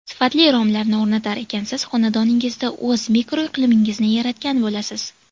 Sifatli romlarni o‘rnatar ekansiz, xonadoningizda o‘z mikroiqlimingizni yaratgan bo‘lasiz.